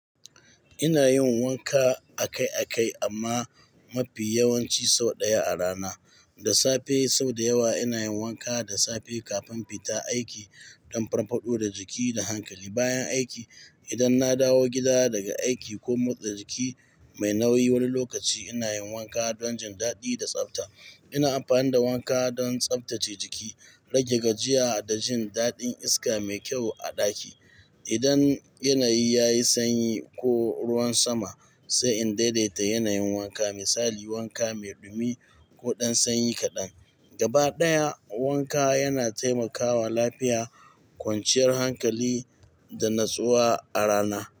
Ina yin wanka akai akai amma mafi yawanci sau ɗaya a rana. Da safe sau da yawa ina yin wanka da safe kafin in fita aiki don farfaɗo da jiki da hankali. Bayan aiki, idan na dawo gida daga aiki ko motsa jiki mai nauyi wani lokaci ina yin wanka don jin daɗi da tsabta. Ina amfani da wanka don tsabtace jiki, rage gajiya da jin daɗin iska mai kyau a ɗaki. Idan yanayi yayi sanyi ko ruwan sama sai in daidaita yanayin wanka. Misali, wanka mai dumi ko ɗan sanyi kaɗan. Gaba ɗaya wanka yana taimakawa lafiya, kwanciyar hankali da natsuwa a rana.